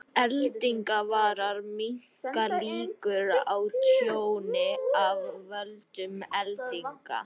Eldingavarar minnka líkur á tjóni af völdum eldinga.